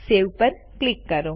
save પર click કરો